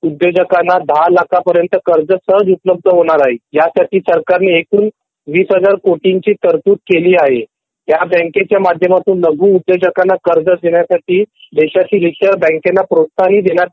उद्योजकांना १० लाख पर्यंत कर्ज सहज उपलब्ध होणार आहे ह्यासाठी सरकार ने एकूण २००००कोटींची तरतूद केलेली आहे .ह्या बँकेच्या माध्यमातून लघु उद्योजकांना कर्ज देण्यासाठी देशाच्या इतर बंकला प्रोत्साहन देण्यात